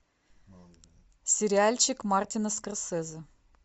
сериальчик мартина скорсезе